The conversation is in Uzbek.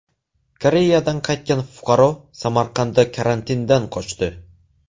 Koreyadan qaytgan fuqaro Samarqandda karantindan qochdi.